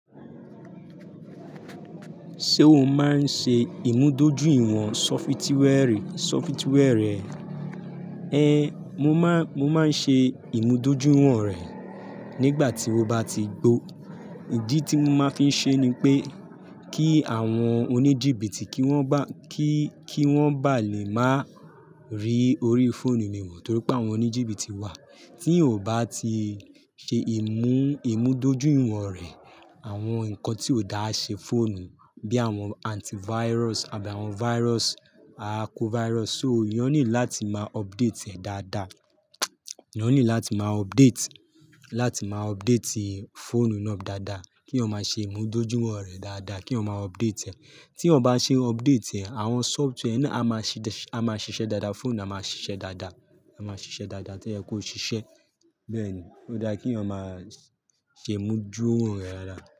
Ṣé o máa ń ṣe ìmúdójúìwọ̀n sọfitiwẹẹrì, sọfitiwẹẹrì ẹ? É, mo máa, mo máa ń ṣe ìmúdójúìwọ̀n rẹ̀ nígbà tí o bá ti gbó. Idi ti mo máa fi ń ṣe ni pé kí àwọn oníjìbìtì kí wọ́n bá, kí, kí wọ́n ba lè máa rí orí fóònù mi wọ́n. Nítorí pé àwọn oníjìbìtì wà tí eeyan o bá ti ṣe ìmú, ìmúdójúìwọ̀n rẹ̀, àwọn nǹkan tí ó dáa ṣe fóònù bíi àwọn antivirus àbi àwọn virus, a ko virus. So eeyan need láti máa update ẹ̀ dáadáa. Eeyan need láti máa update, láti máa update fóònù náà dáadáa kí eeyan máa ṣe ìmúdójúìwọ̀n rẹ̀ dáadáa, kí eeyan máa update ẹ̀. Tí eeyan bá ṣe update ẹ̀, àwọn software náà á máa ṣiṣẹ, á máa ṣiṣẹ́ dáadáa, fóònù á máa ṣiṣẹ́ dáadáa. Á máa ṣiṣẹ́ dáadáa tó yẹ kó ṣiṣẹ́. Bẹ́ẹ̀ ni, ó dáa kí eeyan máa ṣe ìmúdójúìwọ̀n rẹ̀ dáadáa.